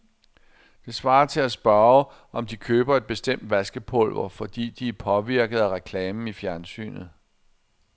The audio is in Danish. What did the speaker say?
Det svarer til at spørge, om de køber et bestemt vaskepulver, fordi de er påvirket af reklamen i fjernsynet.